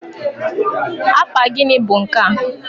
apa gịnị bụ nkea?